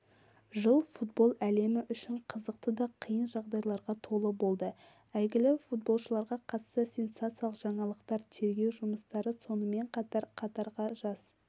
жыл футбол әлемі үшін қызықты да қиын жағдайларға толы болды әйгілі футболшыларға қатысты сенсациялық жаңалықтар тергеу жұмыстары сонымен қатар қатарға жас